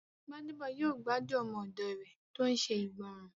Gbádébọ̀ yóò gbádùn ọmọ òdò rẹ̀ tó n ṣe ìgbọràn